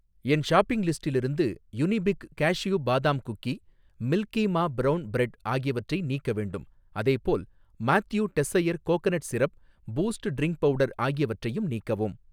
என் shopping லிஸ்டிலிருந்து Unibic cashew badam cookie, milky மா brown bread ஆகியவற்றை நீக்க வேண்டும். அதேபோல், மாத்யு டெஸ்ஸயர் coconut syrup, Boost drink powder ஆகியவற்றையும் நீக்கவும்.